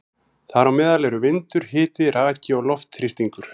Þar á meðal eru vindur, hiti, raki og loftþrýstingur.